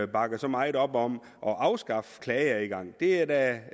bakker så meget op om at afskaffe klageadgangen det er da